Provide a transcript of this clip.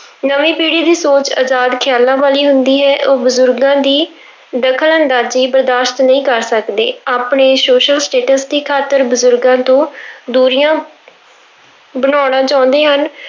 ਨਵੀਂ ਪੀੜ੍ਹੀ ਦੀ ਸੋਚ ਅਜ਼ਾਦ ਖ਼ਿਆਲਾਂ ਵਾਲੀ ਹੁੰਦੀ ਹੈ, ਉਹ ਬਜ਼ੁਰਗਾਂ ਦੀ ਦਖ਼ਲ ਅੰਦਾਜ਼ੀ ਬਰਦਾਸ਼ਤ ਨਹੀਂ ਕਰ ਸਕਦੇ, ਆਪਣੇ social status ਦੀ ਖ਼ਾਤਰ ਬਜ਼ੁਰਗਾਂ ਤੋਂ ਦੂਰੀਆਂ ਬਣਾਉਣਾ ਚਾਹੁੰਦੇ ਹਨ।